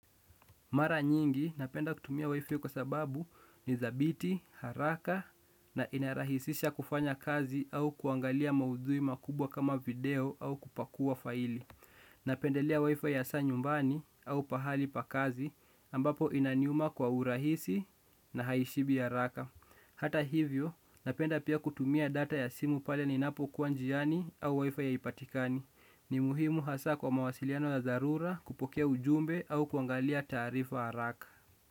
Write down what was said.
Mara nyingi, napenda kutumia wifi kwa sababu ni dhabiti, haraka na inarahisisha kufanya kazi au kuangalia maudhui makubwa kama video au kupakua faili. Napendelea wifi hasa nyumbani au pahali pa kazi ambapo inaniuma kwa urahisi na haishibi haraka. Hata hivyo, napenda pia kutumia data ya simu pale ninapokuwa njiani au wifi haipatikani. Ni muhimu hasa kwa mawasiliano ya dharura kupokea ujumbe au kuangalia taarifa haraka.